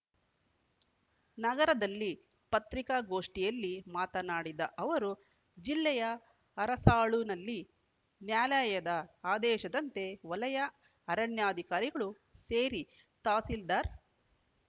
ನಗರದಲ್ಲಿ ಪತ್ರಿಕಾಗೋಷ್ಠಿಯಲ್ಲಿ ಮಾತನಾಡಿದ ಅವರು ಜಿಲ್ಲೆಯ ಅರಸಾಳುನಲ್ಲಿ ನ್ಯಾಲಯದ ಆದೇಶದಂತೆ ವಲಯ ಅರಣ್ಯಾಧಿಕಾರಿಗಳು ಸೇರಿ ತಹಸೀಲ್ದಾರ್‌